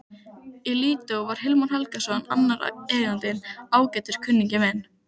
Í Lídó var Hilmar Helgason annar eigandinn, ágætur kunningi minn.